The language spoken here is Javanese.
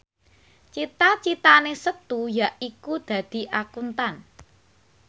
cita citane Setu yaiku dadi Akuntan